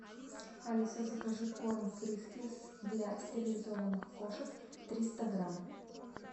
алиса закажи корм фрискис для стерилизованных кошек триста грамм